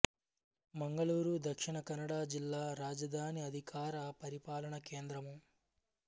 మంగళూరు దక్షిణ కన్నడ జిల్లా రాజధాని అధికార పరిపాలన కేంద్రము